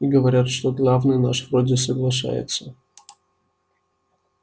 и говорят что главный наш вроде соглашается